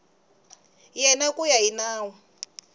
yena ku ya hi nawu